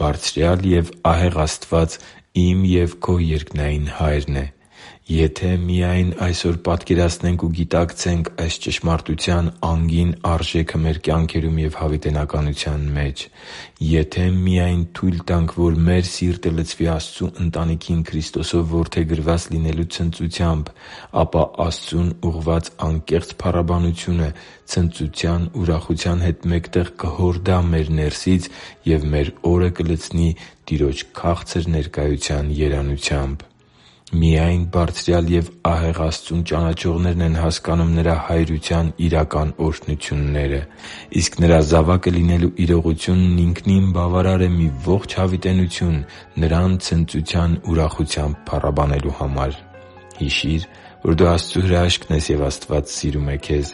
Բարձրյալ և ահեղ Աստված իմ և քո երկնային Հայրն է․․․ Եթե միա՜յն այսօր պատկերացնենք ու գիտակցենք այս ճշմարտության անգին արժեքը մեր կյանքերում և հավիտենության մեջ։ Եթե միա՜յն թույլ տանք, որ մեր սիրտը լցվի Աստծու ընտանիքին Քրիստոսով որդեգրված լինելու ցնծությամբ, ապա Աստծուն ուղղված անկեղծ փառաբանությունը ցնծության ուրախության հետ մեկտեղ կհորդա մեր ներսից և մեր օրը կլցնի Տիրոջ քաղցր ներկայության երանությամբ։ Միայն Բարձրյալ և ահեղ Աստծուն ճանաչողներն են հասկանում Նրա հայրության իրական օրհնությունները։ Իսկ Նրա զավակը լինելու իրողությունն ինքնին բավարար է մի ողջ հավիտենություն Նրան ցնծության ուրախությամբ փառաբանելու համար։ Հիշի՛ր, որ դու Աստծո հրաշքն ես, և Աստված սիրում է քեզ։